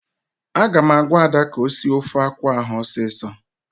Aga m agwa Ada ka o sie ofe akwụ ahụ ọsọ ọsọ!